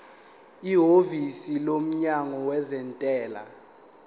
ihhovisi lomnyango wezentela